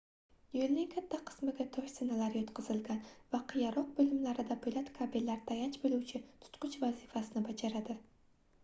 yoʻlning katta qismiga tosh zinalar yotqizilgan va qiyaroq boʻlimlarida poʻlat kabellar tayanch boʻluvchi tutqich vazifasini bajaradi